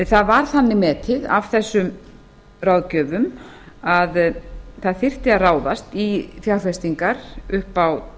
það var þannig metið af þessum ráðgjöfum að það þyrfti að ráðast í fjárfestingar upp á